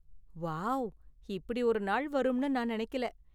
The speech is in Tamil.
வாவ், இப்படி ஒரு நாள் வரும்னு நான் நெனைக்கல.